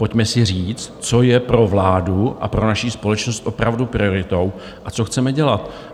Pojďme si říct, co je pro vládu a pro naši společnost opravdu prioritou a co chceme dělat.